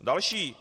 Další.